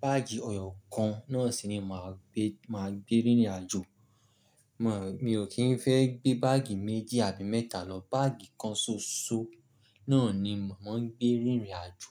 Báàgì ọyọ́ kan náà sì ni màá gbé, màá gbé rìnrìn àjò. Mò, mi ò kí ń fẹ́ gbé báàgì méjì àbí mẹ́tà lọ. Báàgì kan ṣoṣo náà ni mò ń gbé rìnrìn àjò.